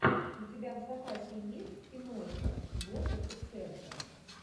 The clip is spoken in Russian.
у тебя в запасе есть киношка гоша куценко